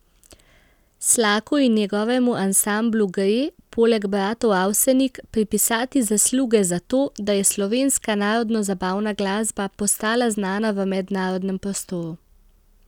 Slaku in njegovemu ansamblu gre, poleg bratov Avsenik, pripisati zasluge za to, da je slovenska narodnozabavna glasba postala znana v mednarodnem prostoru.